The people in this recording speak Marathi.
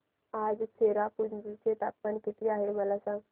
आज चेरापुंजी चे तापमान किती आहे मला सांगा